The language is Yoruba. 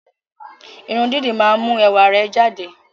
Irun dídì máa ń mú ẹwà rẹ jáde